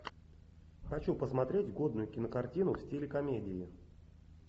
хочу посмотреть годную кинокартину в стиле комедии